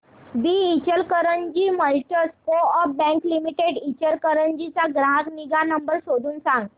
दि Ichalkaranji merchants coop bank limited Ichalkaranji चा ग्राहक निगा नंबर शोधून सांग